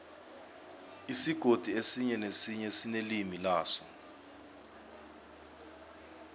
isigodi esinye nesinye sinelimi laso